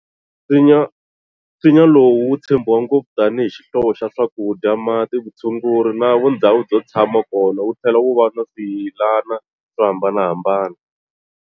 Nsinya lowu wu tshembiwa ngopfu tani hi xihlovo xa swakudya, mati, vutshunguri na vundzhawu byo tsama kona wu thlela wu va na swiyilana swo hambanahambana.